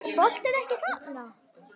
Er boltinn ekki þarna?